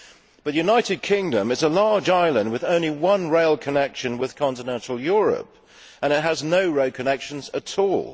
But the United Kingdom is a large island with only one rail connection with continental Europe and it has no road connections at all.